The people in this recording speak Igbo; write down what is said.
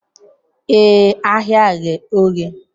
Ee, ahịa ghe oghe